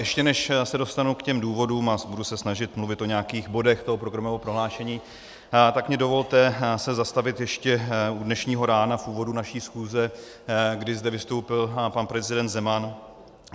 Ještě než se dostanu k těm důvodům a budu se snažit mluvit o nějakých bodech toho programového prohlášení, tak mi dovolte se zastavit ještě u dnešního rána, u úvodu naší schůze, kdy zde vystoupil pan prezident Zeman.